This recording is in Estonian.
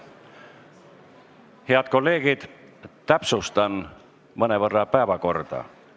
Head kolleegid, täpsustan mõnevõrra päevakorda.